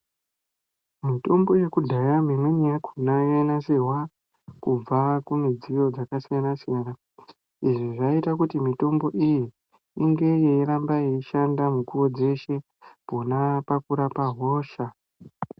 Mitombo yekudhaya mimweni yakona ainasirwa kubve kumidziyo yakasiyana siyana izvi zvaita kuti mutombo iyi inge yeiramba yeishanda pona pakurapa hosha .